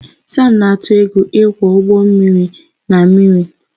Sam na-atụ egwu ịkwọ ụgbọ mmiri na mmiri